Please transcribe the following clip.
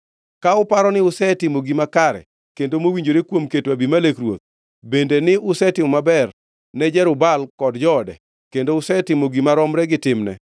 “Ka uparo ni usetimo gima kare kendo mowinjore kuom keto Abimelek ruoth, bende ni usetimo maber ne Jerub-Baal kod joode, kendo usetimone gima romre gi timne,